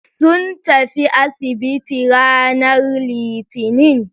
Sun tafi asibiti ranar litinin.